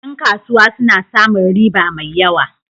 Ƴan kasuwa suna samun riba mai yawa.